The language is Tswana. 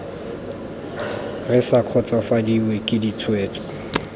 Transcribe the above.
re sa kgotsofadiwe ke ditshwetso